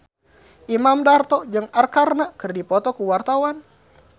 Imam Darto jeung Arkarna keur dipoto ku wartawan